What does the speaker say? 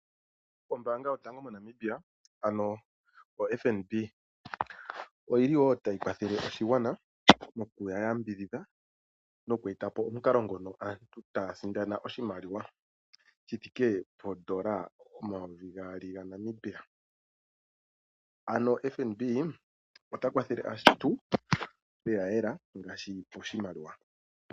Ombaanga yotango moNamibia ano oFNB oyli tayi kwathele oshigwana noku eta po omukalo ngono aantu taya sindana oshimaliwa shithike poondola omayovi gaali gaNamibia. Ano FNB ota kwathele aantu lela kela ngaashi poshimaliwa.